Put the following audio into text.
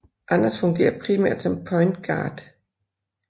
Anders fungerer primært som point guard